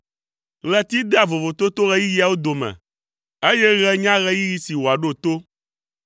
Ɣleti dea vovototo ɣeyiɣiwo dome, eye ɣe nya ɣeyiɣi si wòaɖo to.